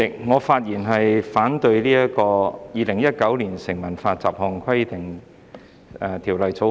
主席，我發言反對三讀《2019年成文法條例草案》。